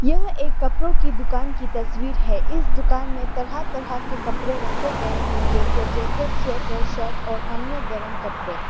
यह एक कपड़ों की दुकान की तस्वीर है इस दुकान में तरह तरह के कपड़े रखे गए हैं जैसे जैकेट स्वेटर शर्ट और अन्य गर्म कपड़े।